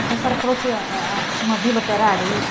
Então, a senhora falou que a a tinha uma vila operária, isso?